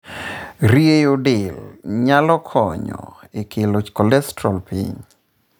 Rieyo delnyalo konyo e kelo cholesterol piny.